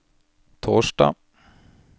torsdag